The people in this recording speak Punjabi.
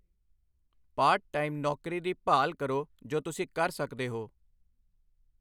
ਪਾਰਟ ਟਾਈਮ ਨੌਕਰੀ ਦੀ ਭਾਲ ਕਰੋ ਜੋ ਤੁਸੀਂ ਕਰ ਸਕਦੇ ਹੋ।